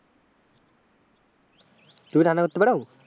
তুমি রান্না করতে পারো?